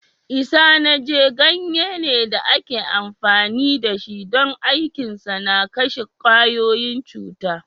Isanaje ganye ne da ake amfani da shi don aikinsa na kashe kwayoyin cuta.